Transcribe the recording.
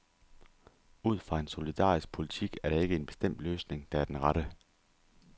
Ud fra en solidarisk politik er der ikke en bestemt løsning, der er den rette.